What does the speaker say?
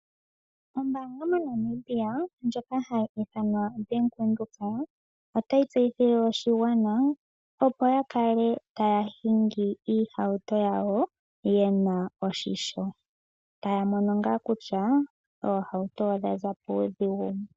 Ombaanga moNamibia ndjoka hayi ithanwa Bank Windhoek otayi tseyithile oshigwana opo ya kale taya hingi iihauto yawo yena oshimpwiyu, taya mono ngaa kutya oohauto odha za puudhigu .